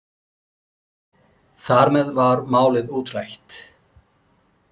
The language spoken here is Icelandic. Þar með var málið útrætt.